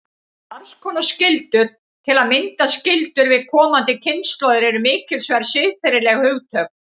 Margs konar skyldur, til að mynda skyldur við komandi kynslóðir, eru mikilsverð siðferðileg hugtök.